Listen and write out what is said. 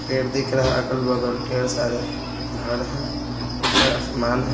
पेड़ दिख रहा है अगल-बगल ढेर सारे घर हैं ऊपर आसमान है।